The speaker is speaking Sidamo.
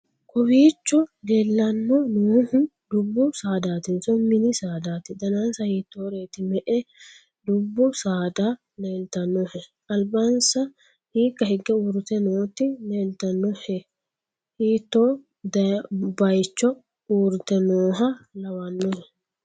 kowiicho leellanno noohu dubbu saadaatinso mini saadaati? danasa hiittoreeti? me'e dubbu saada leeltannohe? albansa hiikka higge uurrite nooti leeltannohehiitto bayicho uurrite nooha lawannohe?